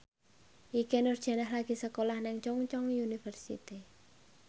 Ikke Nurjanah lagi sekolah nang Chungceong University